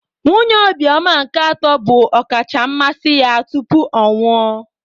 Nwunye Obioma nke atọ bụ ọkacha mmasị ya tupu ọ nwụọ.